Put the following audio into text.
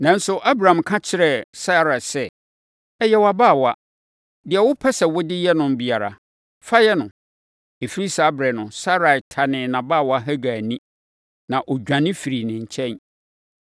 Nanso, Abram ka kyerɛɛ Sarai sɛ, “Ɔyɛ wʼabaawa. Deɛ wopɛ sɛ wode yɛ no biara, fa yɛ no.” Ɛfiri saa ɛberɛ no, Sarai tanee nʼabaawa Hagar ani, ma ɔdwane firii ne nkyɛn.